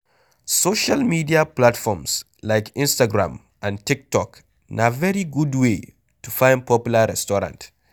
Social media platforms like Instagram and Tiktok na very good way to find popular restaurant